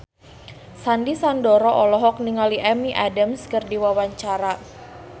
Sandy Sandoro olohok ningali Amy Adams keur diwawancara